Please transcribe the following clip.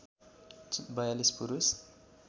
४२ पुरुष